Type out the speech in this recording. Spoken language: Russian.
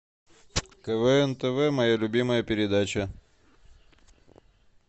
квн тв моя любимая передача